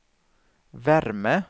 värme